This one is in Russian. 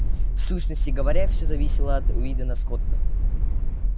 в сущности говоря всё зависело от уидона скотта